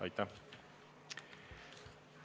Aitäh!